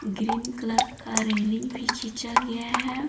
Green colour का railing भी खींचा गया है।